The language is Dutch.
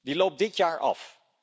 Die loopt dit jaar af.